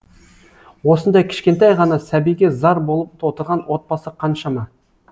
осындай кішкентай ғана сәбиге зар болып отырған отбасы қаншама